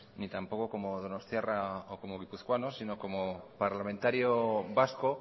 ni tampoco como donostiarra o como guipuzcoano sino como parlamentario vasco